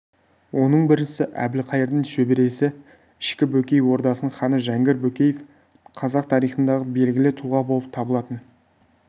оның біріншісі әбілқайырдың шөбересі ішкі бөкей ордасының ханы жәңгір бөкеев қазақ тарихындағы белгілі тұлға болып табылатын